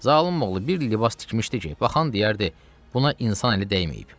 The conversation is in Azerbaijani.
Zalim oğlu bir libas tikmişdi ki, baxan deyərdi, buna insan əli dəyməyib.